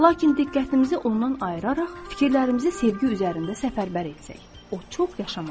Lakin diqqətimizi ondan ayıraraq fikirlərimizi sevgi üzərində səfərbər etsək, o çox yaşamaz.